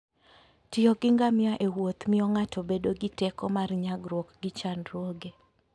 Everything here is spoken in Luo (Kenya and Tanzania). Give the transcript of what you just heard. tiyo gi ngamia ewuoth miyo ng'ato bedo gi teko mar nyagruok gi chandruoge